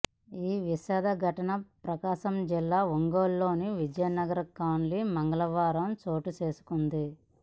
ఈ విషాద ఘటన ప్రకాశం జిల్లా ఒంగోలులోని విజయనగర్ కాలనీలో మంగళవారం చోటుచేసుకుంది